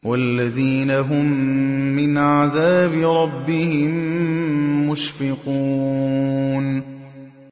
وَالَّذِينَ هُم مِّنْ عَذَابِ رَبِّهِم مُّشْفِقُونَ